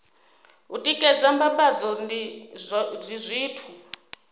u tikedza mbambadzo ndi zwithu